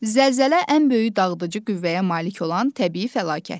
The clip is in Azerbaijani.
Zəlzələ ən böyük dağıdıcı qüvvəyə malik olan təbii fəlakətdir.